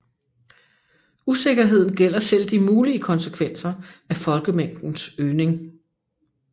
Usikkerheden gælder selv de mulige konsekvenser af folkemængdens øgning